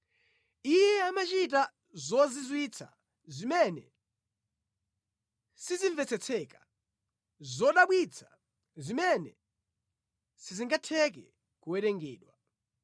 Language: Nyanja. Iye amachita zozizwitsa zimene sizimvetsetseka, zodabwitsa zimene sizingatheke kuwerengedwa.